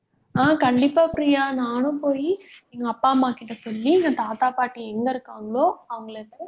ஹம் கண்டிப்பா பிரியா நானும் போயி எங்க அப்பா, அம்மா கிட்ட சொல்லி எங்க தாத்தா, பாட்டி எங்க இருக்காங்களோ அவங்களை